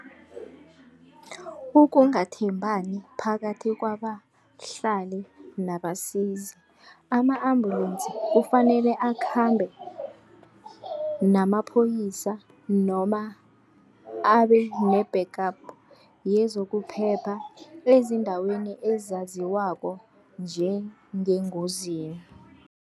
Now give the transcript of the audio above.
Ukungathembani kanye phakathi kwabahlali nabasizi, ama-ambulensi kufanele akhambe namaphoyisa noma abe ne-backup yezokuphepha eziindaweni ezaziwako njengengozini.